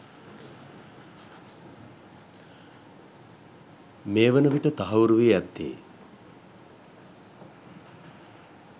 මේ වන විට තහවුරු වී ඇත්තේ